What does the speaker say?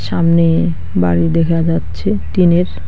সামনে বাড়ি দেখা যাচ্ছে টিনের।